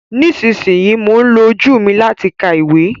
Nísinsìnyí, mò ń lo ojú mi láti ka ìwé